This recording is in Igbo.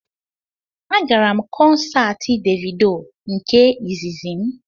Agara m kọnsaati Devido nke izizi m